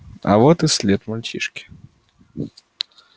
а вот и след мальчишки